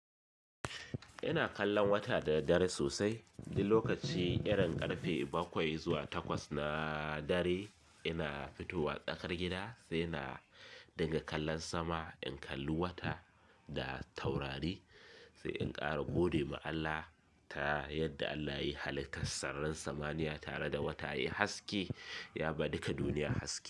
Ina kallon wata da daddare sosai, duk lokaci irin ƙarfe bakwai zuwa takwas na dare ina fitowa tsakar gida sai na dinga kallon sama in kalli wata da taurari sai in ƙara gode ma Allah ta yadda Allah yayi hallika sararin samaniya tare da wata ya yi haske ya ba duka duniya haske.